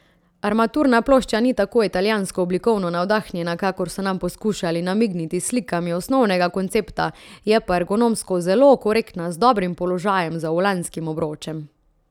Armaturna plošča ni tako italijansko oblikovno navdahnjena, kakor so nam poskušali namigniti s slikami osnovnega koncepta, je pa ergonomsko zelo korektna, z dobrim položajem za volanskim obročem.